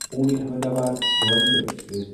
Pune Ahmedabad Duronto express